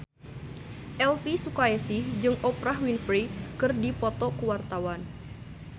Elvy Sukaesih jeung Oprah Winfrey keur dipoto ku wartawan